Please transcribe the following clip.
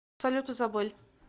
салют изабель